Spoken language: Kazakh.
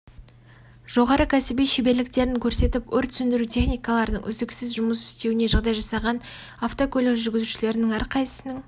жоғары кәсіби шеберліктерін көрсетіп өрт сөндіру техникаларының үздіксіз жұмыс істеуіне жағдай жасаған автокөлік жүргізушілерінің әрқайсысының